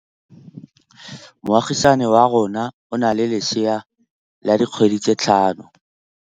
Moagisane wa rona o na le lesea la dikgwedi tse tlhano.